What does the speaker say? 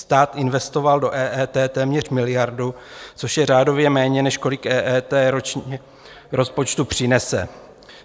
Stát investoval do EET téměř miliardu, což je řádově méně, než kolik EET ročně rozpočtu přinese.